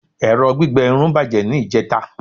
ẹrọ gbígbẹ Irun bajẹ ni ijeta